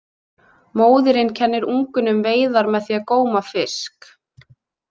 Móðirin kennir ungunum veiðar með því að góma fisk.